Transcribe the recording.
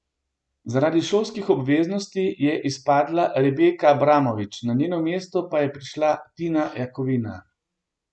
Zaradi šolskih obveznosti je izpadla Rebeka Abramovič, na njeno mesto pa je prišla Tina Jakovina.